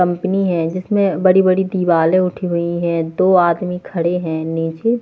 company है इसमें बड़ी-बड़ी दीवाले उठी हुई है दो आदमी खड़े हैंनीचे --